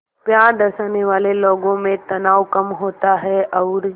प्यार दर्शाने वाले लोगों में तनाव कम होता है और